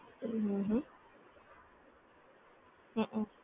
હ હ હ હઅ